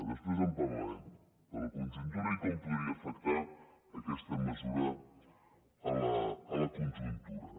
després en parlarem de la conjuntura i com podria afectar aquesta mesura a la conjuntura